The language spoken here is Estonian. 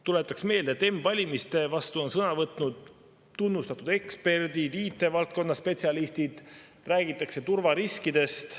Tuletaks meelde, et m-valimiste vastu on sõna võtnud tunnustatud eksperdid, IT-valdkonna spetsialistid, räägitakse turvariskidest.